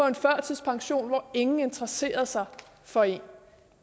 en førtidspension hvor ingen interesserede sig for en